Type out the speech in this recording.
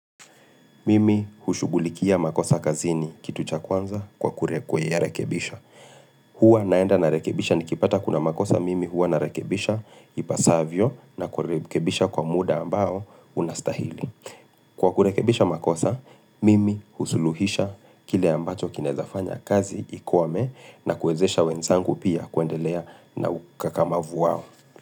Mimi hushughulikia makosa kazini kitu cha kwanza kwa kuya rekebisha. Hua naenda narekebisha nikipata kuna makosa mimi hua narekebisha ipaasavyo na kurekebisha kwa muda ambao unastahili. Kwa kurekebisha makosa, mimi husuluhisha kile ambacho kinezafanya kazi ikwame na kuwezesha wenzangu pia kuendelea na ukakamavu wao.